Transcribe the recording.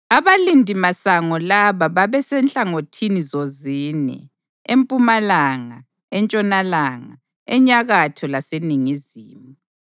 Abalindimasango laba babesenhlangothini zozine: empumalanga, entshonalanga, enyakatho laseningizimu.